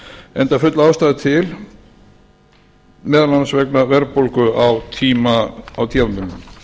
enda full ástæða til meðal annars vegna verðbólgu á tímabilinu bókunin öðlaðist gildi